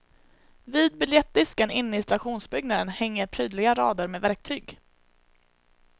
Vid biljettdisken inne i stationsbyggnaden hänger prydliga rader med verktyg.